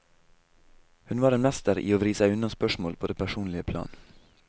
Hun var en mester i å vri seg unna spørsmål på det personlige plan.